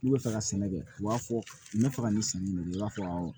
N'u bɛ fɛ ka sɛnɛ kɛ u b'a fɔ n bɛ fɛ ka nin sanni min kɛ i b'a fɔ